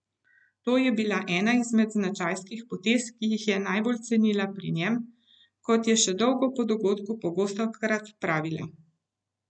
To je bila ena izmed značajskih potez, ki jih je najbolj cenila pri njem, kot je še dolgo po dogodku pogostokrat pravila.